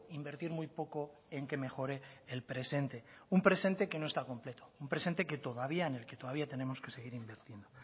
invertir muy poco en que mejore el presente un presente que no está completo un presente en el que todavía tenemos que seguir invirtiendo